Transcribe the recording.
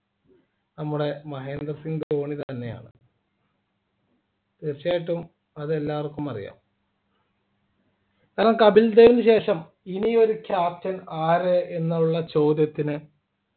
നമ്മുടെ മഹേന്ദ്ര സിംഗ് ധോണി തന്നെയാണ് തീർച്ചയായിട്ടും അത് എല്ലാവർക്കും അറിയാം കാരണം കപിൽദേവിന് ശേഷം ഇനിയൊരു Captain ആര് എന്നുള്ള ചോദ്യത്തിന്